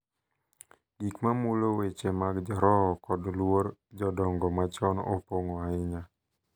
Gik ma mulo weche mag roho kod luor jodongo machon opong’o ahinya.